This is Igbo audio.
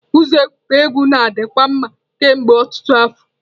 Ụzọ egwuregwu na-adikwa mma kemgbe ọtụtụ afọ.